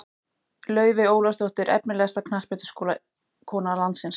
Laufey Ólafsdóttir Efnilegasta knattspyrnukona landsins?